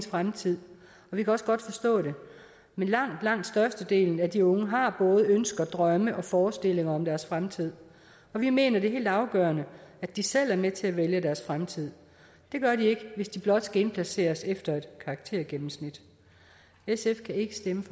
fremtid og vi kan også godt forstå det men langt langt størstedelen af de unge har både ønsker drømme og forestillinger om deres fremtid og vi mener det er helt afgørende at de selv er med til at vælge deres fremtid det gør de ikke hvis de blot skal indplaceres efter et karaktergennemsnit sf kan ikke stemme